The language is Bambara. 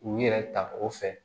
U yɛrɛ ta o fɛ